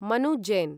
Manu Jain